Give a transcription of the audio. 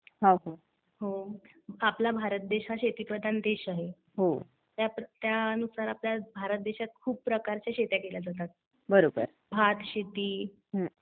आपला भारत देश हा शेतीप्रधान देश आहे. त्यानुसार आपल्या देशात खूप प्रकारच्या शेत्या केल्या जातात. भातशेती